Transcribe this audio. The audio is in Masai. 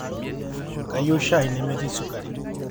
kayieu shai nemetii sukari